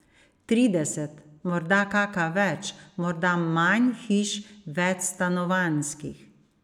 Trideset, morda kaka več, morda manj hiš, večstanovanjskih.